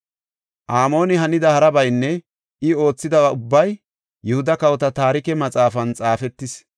Amooni hanida harabaynne I oothidaba ubbay Yihuda Kawota Taarike Maxaafan xaafetis.